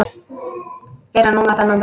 Fyrr en núna þennan dag.